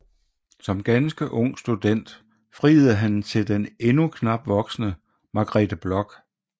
Som ganske ung student friede han til den endnu knap voksne Margrethe Bloch